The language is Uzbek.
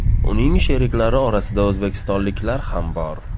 Uning sheriklari orasida o‘zbekistonliklar ham bor.